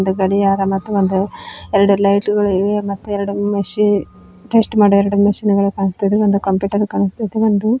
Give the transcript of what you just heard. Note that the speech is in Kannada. ಗಡಿಯಾರ ಮತ್ತು ಒಂದು ಎರಡು ಲೈಟುಗಳಿವೆ ಮತ್ತು ಮಷೀನ್ ಟ್ವಿಸ್ಟ್ ಮಾಡೋ ಎರ್ಡು ಮಷೀನ್ ಗಳು ಕಾಣ್ಸ್ತಿವೆ ಒಂದು ಕಂಪುಟರ್ ಕಾಣಸ್ತಿದೆ ಒಂದು--